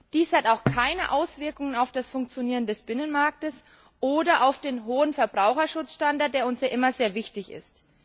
Dies hat auch keine Auswirkungen auf das Funktionieren des Binnenmarkts oder auf den hohen Verbraucherschutzstandard, der uns ja immer sehr wichtig ist.